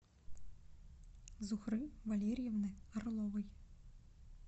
зухры валерьевны орловой